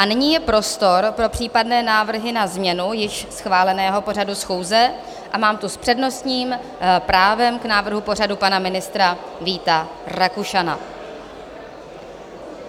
A nyní je prostor pro případné návrhy na změnu již schváleného pořadu schůze a mám tu s přednostním právem k návrhu pořadu pana ministra Víta Rakušana.